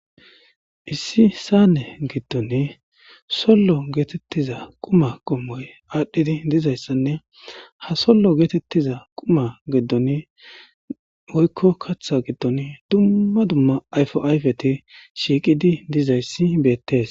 issi saane giddoni sollo geetettiza quma qommoy aadhdhidi dizayssanne ha sollo geetettiza quma geddoni woykko kaththa giddon dumma dumma ayfo ayfeti shiiqidi dizayssi beettes